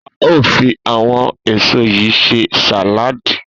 A óò fi àwo̩n èso yìí s̩e sàláàdì